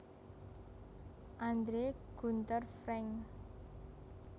Andre Gunder Frank